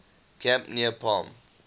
camp near palm